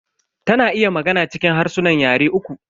Ta na iya magana cikin harsunan yare uku.